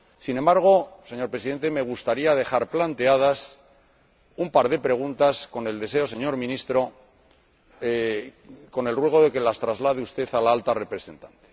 Sin embargo, señor Presidente, me gustaría dejar planteadas un par de preguntas con el ruego, señor Ministro, de que las traslade usted a la Alta Representante.